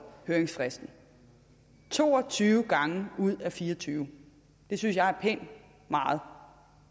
høringsfristen to og tyve gange ud af fire og tyve synes jeg er pænt meget